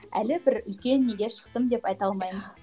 әлі бір үлкен неге шықтым деп айта алмаймын